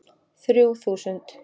Þrjú þúsund